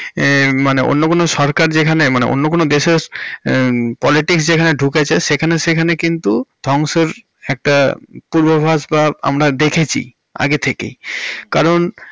এহঃ মানে অন্য কোনো সরকার যেখানে মানে অন্য কোনো দেশের politics যেখানে ঢুকেছে সেখানে সেখানে কিন্তু ধ্বংসের একটা পূর্বাভাস বা আমরা দেখেছি আগে থেকে কারণ।